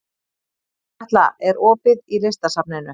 Katla, er opið í Listasafninu?